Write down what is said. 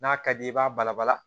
N'a ka di i b'a bala bala